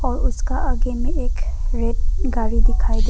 और उसका आगे में एक रेड गाड़ी दिखाई दे--